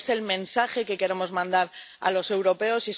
¿Cuál es el mensaje que queremos mandar a los europeos?